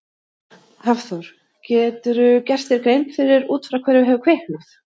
Hafþór: Geturðu gert þér grein fyrir út frá hverju hefur kviknað?